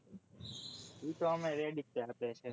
એતો ઓમે ready જ